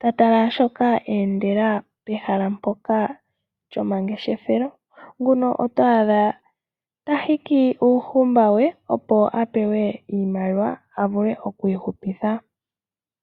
ta tala shoka a endela pehala mpoka lyomangeshefelo, nguno oto adha tahiku uuhumba we opo avule oku ihuputha.